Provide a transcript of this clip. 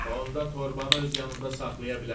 Onda torbanı öz yanında saxlaya bilərsən.